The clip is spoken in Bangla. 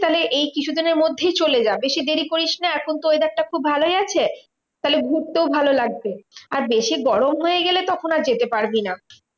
তাহলে এই কিছুদিনের মধ্যেই চলে যা বেশি দেরি করিসনা। এখন তো weather টা খুব ভালোই আছে, তাহলে ঘুরতেও ভালো লাগবে। আর বেশি গরম হয়ে গেলে তখন আর যেতে পারবি না।